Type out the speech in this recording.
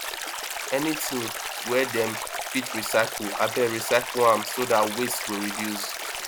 anytin wey dem fit recycle abeg recycle am so dat waste go reduce